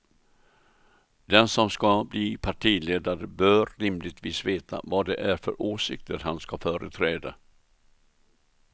Den som ska bli partiledare bör rimligtvis veta vad det är för åsikter han ska företräda.